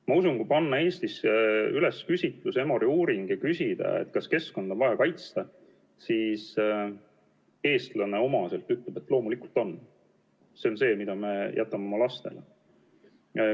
Ma usun, et kui panna Eestis üles küsitlus, teha Emori uuring, ja küsida, kas keskkonda on vaja kaitsta, siis eestlane talle omaselt ütleb, et loomulikult on, sest see on see, mille me jätame oma lastele.